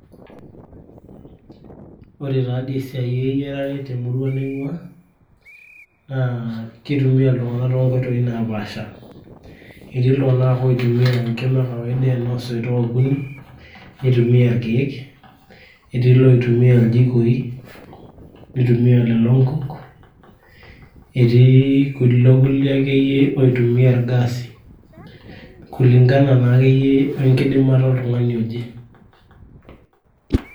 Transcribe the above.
Ore taadoi esiai eyiarare temurua naing'ua naa keitumia iltung'anak toonkoitoi napaasha, etii iltung'anak oitumia enkima e kawaida ena oosoitok okuni neitumia ilkeek, etii iloitumia iljikoi neitumia lelo nkuk, etii kulo kulie akeyie oitumia ilgaasi kulingana naa akeyie wenkidimata oltung'ani oje.